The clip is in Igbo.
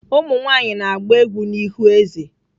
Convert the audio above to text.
Umu nwaanyị na-agba egwú n'ihu eze.